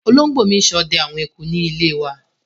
Olóngbò mi n sode àwon eku níléwa